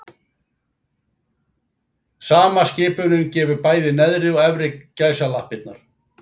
Sama skipunin gefur bæði neðri og efri gæsalappirnar.